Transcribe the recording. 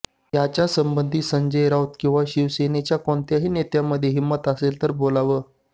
याच्यासंबंधी संजय राऊत किंवा शिवसेनेच्या कोणत्याही नेत्यामध्ये हिंमत असेल तर बोलावं